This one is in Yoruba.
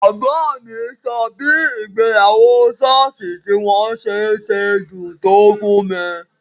Bàbá mi sọ bí ìgbéyàwó ṣọ́ọ̀ṣì tí wọ́n ṣe sedùn tó fún mi